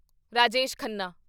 Rajesh Khanna